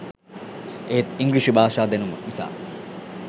එහෙත් ඉංග්‍රීසි භාෂා දැනුම නිසා